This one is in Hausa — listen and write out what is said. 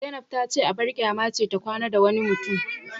Zainab tace abar kyama ce ta kwana da wani mutum